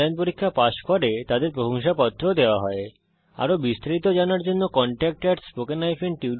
যারা অনলাইন পরীক্ষা পাস করে তাদের প্রশংসাপত্র সার্টিফিকেট ও দেওয়া হয়